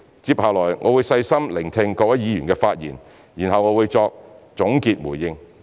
接下來我會細心聆聽各位議員的發言，然後我會再作總結回應。